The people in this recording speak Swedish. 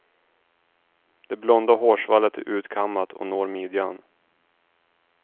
Det blonda hårsvallet är utkammat och når midjan.